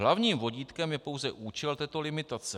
Hlavním vodítkem je pouze účel této limitace.